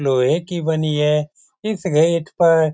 लोहे की बनी है इस गेट पर --